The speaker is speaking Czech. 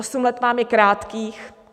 Osm let vám je krátkých.